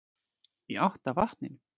Í átt að vatninu.